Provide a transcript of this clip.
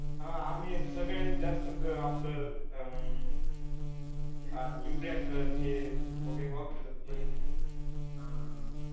हा आम्ही सगळ्यात जास्त आपलं अह युरिया खत हे वगैरे वापरीत असतोय